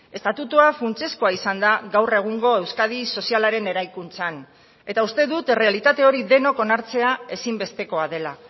estatutua funtsezkoa izan da gaur egungo euskadi sozialaren eraikuntzan eta uste dut errealitate hori denok onartzea ezinbestekoa dela